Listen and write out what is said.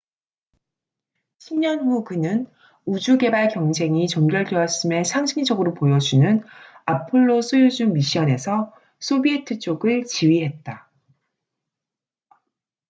10년 후 그는 우주 개발 경쟁이 종결되었음을 상징적으로 보여주는 아폴로-소유즈 미션에서 소비에트 쪽을 지휘했다